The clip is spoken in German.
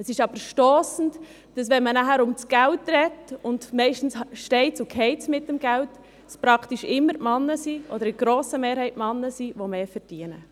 Es ist jedoch stossend, dass dann, wenn man über Geld spricht – und meistens steht und fällt es mit dem Geld – praktisch immer die Männer diejenigen sind, die mehr verdienen.